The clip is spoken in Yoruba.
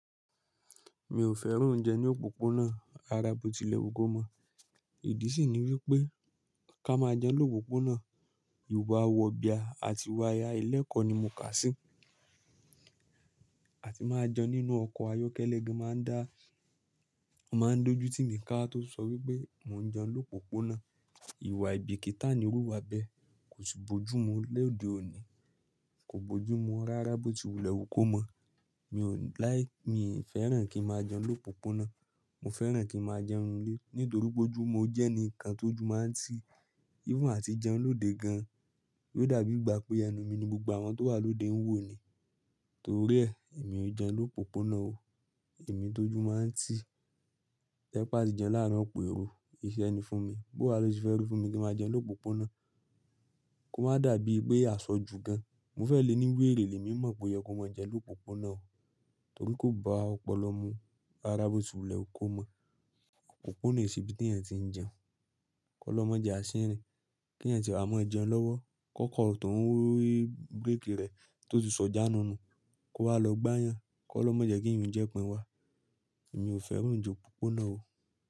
Mi ò fẹ́ràn oúnjẹ ní òpópónà, ràrábótilẹ wu kó mọ̀. Ìdí sì ni wípé ká máa jẹun lópópónà, ìwà wọ̀bia àti iwá ailẹ́kọ ni mò ń kà sí. Àti máa jẹun nínú ọkọ̀ ayọ́kẹ́lẹ́ gẹ́ máa ń dá, màá ń dojú tí mi ká tó sọ wípé mò ń jẹun lópópónà. Ìwà aìbikítà ni irú wa bẹ́. Kò sì bojú mu lẹ́òde òní, kò bojú mu ràrábótilẹ wu kó mọ̀. Mi ò láì, mi ì fẹ́ràn kí n máa jẹun lópópónà, mò fẹ́ràn kí n máa jẹun ninu ílé. Nítorí bóju, mò jẹ́ ẹni kan tó jù máa ń tì. Even àti jẹun lóde gan-an, yóò dàbí ìgbà pé ẹnu mi ni gbogbo àwọn tó wà lóde ń wò ni. Torí ẹ, èmi ò jẹun lópópónà o. Èmi tó jù máa ń tì. Ẹ pá sì jẹun láàárín òpèró, iṣẹ́ ẹni fún mi. Bó á lò ṣì fẹ́ràn fún mi kí n máa jẹun lópópónà, kó má dàbí ìgbé àṣọ ju gan. Mo fẹ́ lè ní wéèrè lẹ́mí mọ̀ pé yẹ kó má jẹun lópópónà o. Torí kò bá ọpọlọ mu ràrábótilẹ wu kó mọ̀. Òpópónà ìṣìbí tí ènìyàn tí ń jẹun. Kọ́ lọ́ má jẹ àṣírí, kí ènìyàn sì bá mọ́ ẹ jẹun lọ́wọ́. Kọ́kọ́rọ̀ tó ń rọrí búrékì rẹ̀ tó ti sọjà nù nù, kó wá lọ gbá yàn. Kọ́ lọ́ má jẹ́ kí ìrìn jẹ́ pín wa. Èmi ò fẹ́ràn oúnjẹ òpópónà o.